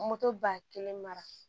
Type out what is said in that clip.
ba kelen mara